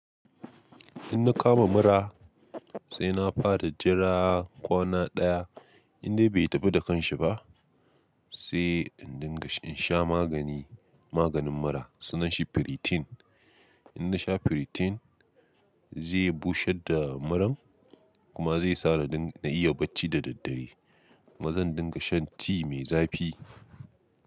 In na kama mura sai na fara jira kwana ɗaya inda bai tafi da kanshi ba sai in dinga in sha magani, maganin mura sunan shi Piritin. In na sha Piriton zai busher da muran kuma zai sare dan na iya bacci da daddare. Kuma zan dinga shan tea mai zafi.